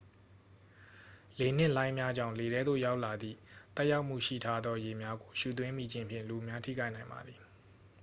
လေနှင့် လှိုင်းများကြောင့် လေထဲသို့ ရောက်လာသည့် သက်ရောက်မှုရှိထားသော ရေများကို ရှူသွင်းမိခြင်းဖြင့် လူအများထိခိုက်နိုင်ပါသည်